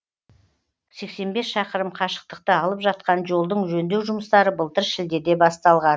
сексен бес шақырым қашықтықты алып жатқан жолдың жөндеу жұмыстары былтыр шілдеде басталған